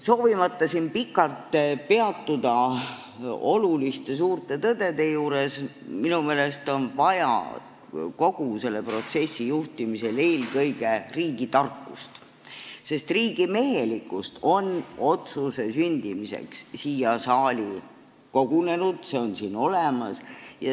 Soovimata siin pikalt peatuda oluliste suurte tõdede juures, on minu meelest vaja kogu selle protsessi juhtimisel eelkõige riigitarkust, sest riigimehelikkust on otsuse sündimiseks siia saali kogunenud, see on siin olemas.